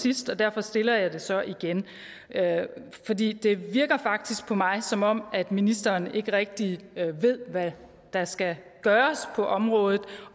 sidst og derfor stiller jeg det så igen fordi det virker faktisk på mig som om ministeren ikke rigtig ved hvad der skal gøres på området